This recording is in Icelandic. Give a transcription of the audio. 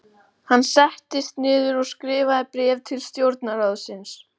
Hann settist niður og skrifaði bréf til stjórnarráðsins.